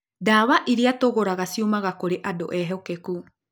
Dawa iria tũgũraga ciumaga kũrĩ andũ ehokeku.